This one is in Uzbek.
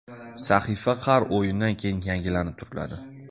Sahifa har o‘yindan keyin yangilanib turiladi.